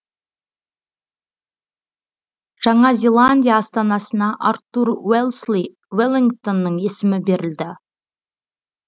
жаңа зеландия астанасына артур уэлсли веллингтонның есімі берілді